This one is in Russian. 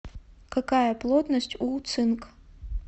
какая плотность у цинк